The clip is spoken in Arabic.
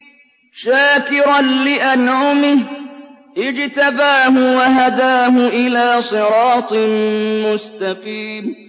شَاكِرًا لِّأَنْعُمِهِ ۚ اجْتَبَاهُ وَهَدَاهُ إِلَىٰ صِرَاطٍ مُّسْتَقِيمٍ